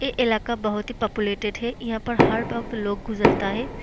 ए इलाका बहुत ही पॉपुलेटेड है यहाँ पर हर गांव का लोग गुजरता है।